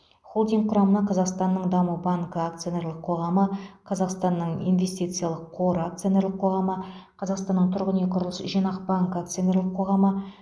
холдинг құрамына қазақстанның даму банкі акционерлік қоғамы қазақстанның инвестициялық қоры акционерлік қоғамы қазақстанның тұрғын үй құрылыс жинақ банкі акционерлік қоғамы